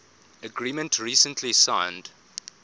agreement recently signed